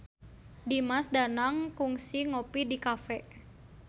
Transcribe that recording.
Dimas Danang kungsi ngopi di cafe